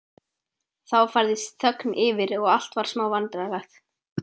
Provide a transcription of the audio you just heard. Þá færðist þögn yfir og allt varð smá vandræðalegt.